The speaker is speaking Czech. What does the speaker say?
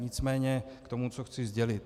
Nicméně k tomu, co chci sdělit.